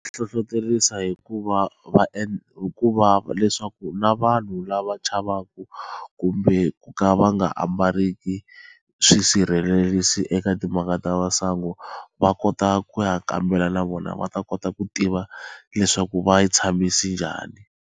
Hlohloterisa hikuva va hikuva leswaku na vanhu lava chavaka kumbe ku ka va nga ambariki swisirhelerisi eka timhaka ta masangu va kota ku ya kambela na vona va ta kota ku tiva leswaku va tshamisi njhani.